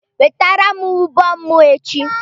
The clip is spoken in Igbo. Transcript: Wetere m ụbọ m echi!